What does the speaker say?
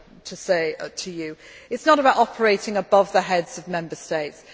I want to say to you. It is not about operating above the heads of Member